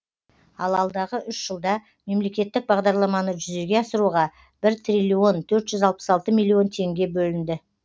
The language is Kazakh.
ал алдағы үш жылда мемлекеттік бағдарламаны жүзеге асыруға бір триллион төрт жүз алпыс алты миллион теңге бөлінді